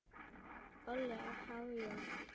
Óli á há joð?